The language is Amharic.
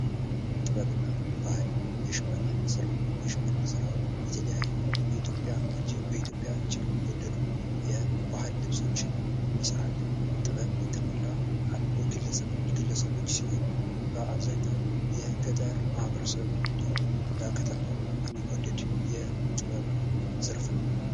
ጥበብ እና ባህል የሽመና ስራ የሽመና ስራ የተለያዩ በኢትዮጵያ እጅግ የሚወደዱ የባህል ልብሶችን የሚሰራልን ጥበብ የተሞላ ግለሰቦች ሲሆን በአብዛኛው የገጠር ማህበረሰብ እንዲሁም በከተማም የሚወደድ የጥበብ ዘርፍ ነው።